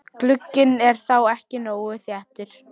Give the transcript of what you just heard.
Glugginn er þá ekki nógu þéttur.